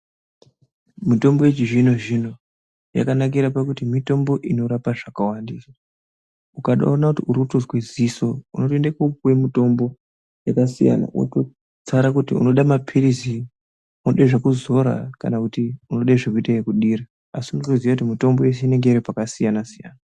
Mitombo yechizvino zvino yakanakira pakuti mitombo inorapa zvakawanda ukaotoona kuti uri kutozwe ziso unotoende kopiwa mutombo yakasiyana wototsara kuti unoda mapirizi, unoda zvekuzora kana kuti unode zvekuita ekudira asi unotoziye kuti mitombo yeshe inenge iri pakasiyana siyana.